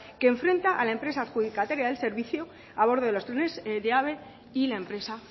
que enfrenta a la empresa adjudicataria del servicio a bordo de los trenes de ave y la empresa